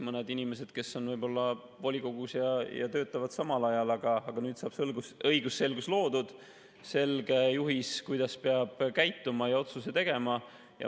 Mõned inimesed on volikogus ja töötavad samal ajal, aga nüüd saab õigusselgus loodud, on selge juhis, kuidas peab käituma, ja peab otsuse tegema.